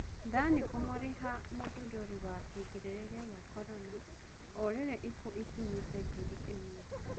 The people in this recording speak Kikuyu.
Thani kũmũrĩha mũthũndũri wa kĩgirĩrĩria gĩa Korona orĩrĩ ikuũ ikinyĩte ngiri ĩmwe